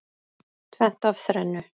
Tvennt af þrennu.